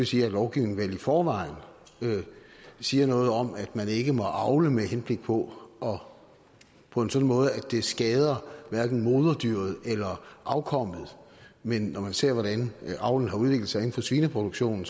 sige at lovgivningen vel i forvejen siger noget om at man ikke må avle med henblik på og på en sådan måde at det skader moderdyret eller afkommet men når man ser hvordan avlen har udviklet sig inden for svineproduktionen